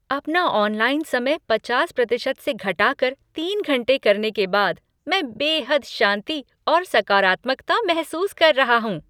अपना ऑनलाइन समय पचास प्रतिशत से घटाकर तीन घंटे करने के बाद मैं बेहद शांति और सकारात्मकता महसूस कर रहा हूँ।